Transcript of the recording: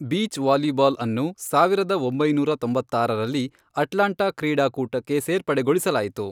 Beach ವಾಲಿಬಾಲ್ಅನ್ನು, ಸಾವಿರದ ಒಂಬೈನೂರ ತೊಂಬತ್ತಾರರಲ್ಲಿ, ಅಟ್ಲಾಂಟಾ ಕ್ರೀಡಾಕೂಟಕ್ಕೆ ಸೇರ್ಪಡೆಗೊಳಿಸಲಾಯಿತು.